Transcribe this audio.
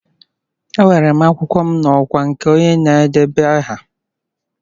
Ewere m akwụkwọ m n'ọkwa nke onye na-edeba aha.